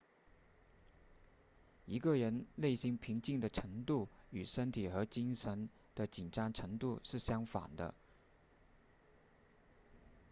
一个人内心平静的程度与身体和精神的紧张程度是相反的